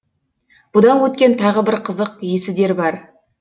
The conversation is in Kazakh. бұдан өткен тағы бір қызық есідер бар